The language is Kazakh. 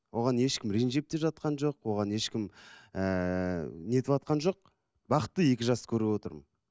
оған ешкім ренжіп те жатқан жоқ оған ешкім ііі нетіватқан жоқ бақытты екі жасты көріп отырмын